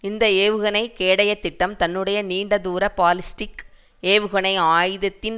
இந்த ஏவுகணை கேடயத் திட்டம் தன்னுடைய நீண்ட தூர பாலிஸ்டிக் ஏவுகணை ஆயுதத்தின்